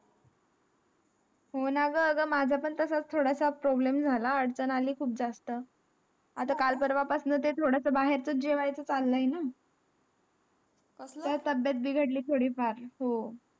हो ना ग आगा माझा पण तसाच थोडा स problem झ्हाला अडचण अली खूप जास्त आता काळ पर्वा पास्न ते थोडा स बाहेर चाच जेवायचं चला आहे ना तब्येत बिघडली थोडी फार